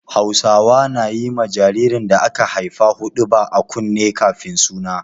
Hausawa na yi ma jaririn da aka haifa huɗuba a kunne kafin suna.